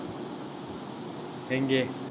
எங்கே